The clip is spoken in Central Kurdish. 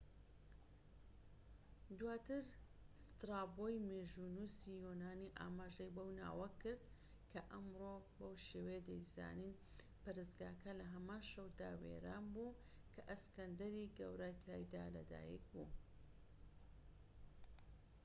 دواتر سترابۆی مێژوونووسی یۆنانی ئاماژەی بەو ناوە کرد، کە ئەمڕۆ بەو شێوەیە دەیزانین. پەرستگاکە لە هەمان شەودا وێران بوو کە ئەسکەندەری گەورە تیایدا لە دایک بوو‎